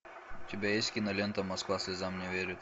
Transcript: у тебя есть кинолента москва слезам не верит